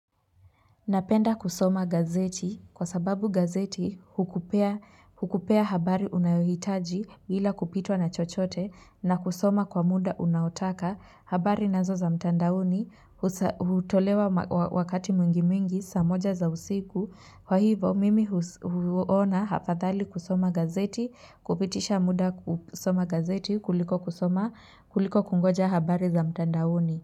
Napenda kusoma gazeti kwa sababu gazeti hukupea habari unayohitaji bila kupitwa na chochote na kusoma kwa muda unaotaka habari nazo za mtandaoni hutolewa wakati mwingi mwingi saa moja za usiku. Kwa hivo mimi huona hafadhali kusoma gazeti kupitisha muda kusoma gazeti kuliko kusoma kuliko kungoja habari za mtandaoni.